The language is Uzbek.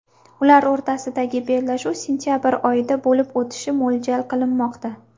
Ular o‘rtasidagi bellashuv sentabr oyida bo‘lib o‘tishi mo‘ljal qilinmoqda .